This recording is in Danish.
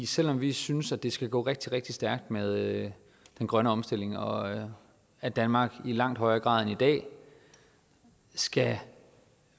selv om vi synes at det skal gå rigtig rigtig stærkt med den grønne omstilling og at danmark i langt højere grad end i dag skal